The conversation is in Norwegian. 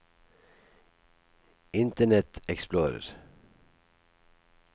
internet explorer